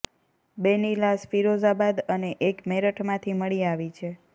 બેની લાશ ફિરોઝાબાદ અને એક મેરઠમાંથી મળી આવી છે